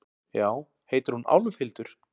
Já, heitir hún Álfhildur?